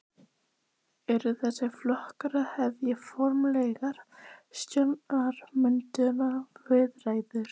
Gunnar Atli Gunnarsson: Eru þessir flokkar að hefja formlegar stjórnarmyndunarviðræður?